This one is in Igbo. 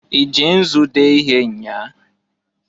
I ji nzu dee ihe nnyaa?